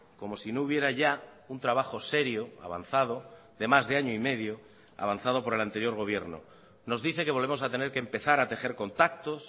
como si no hubiera ya un trabajo serio avanzado de más de año y medio avanzado por el anterior gobierno nos dice que volvemos a tener que empezar a tejer contactos